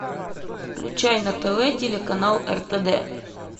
включай на тв телеканал ртд